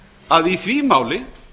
að í því máli